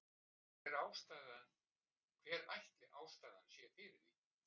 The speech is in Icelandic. Hver ætli ástæðan sé fyrir því?